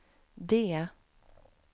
D